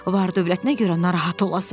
Var-dövlətinə görə narahat olasan.